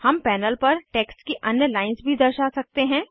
हम पैनल पर टेक्स्ट की अन्य लाइन्स भी दर्शा सकते हैं